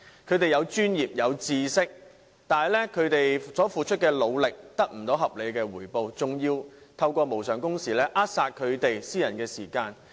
他們擁有專業和知識，但所付出的努力卻無法得到合理回報，更因無償工時而被扼殺私人時間。